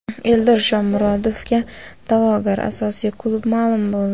Eldor Shomurodovga da’vogar asosiy klub ma’lum bo‘ldi.